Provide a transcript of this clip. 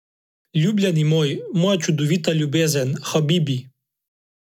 Ljubljeni moj, moja čudovita ljubezen, habibi.